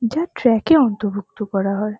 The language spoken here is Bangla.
যা ট্র্যাক -এ অন্তরভুক্ত করা হয়।